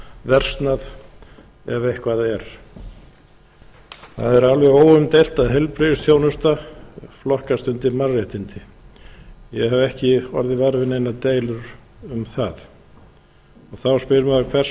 versnað ef eitthvað er það er alveg óumdeilt að heilbrigðisþjónusta flokkast undir mannréttindi ég hef ekki orðið var við neinar deilur um það þá spyr maður hver segja er verið að tala um